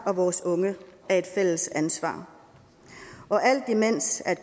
og vores unge er et fælles ansvar alt imens